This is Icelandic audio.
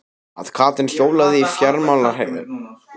Að Katrín hjólaði í fjármálaráðherrann sinn og krefðist afsagnar hans?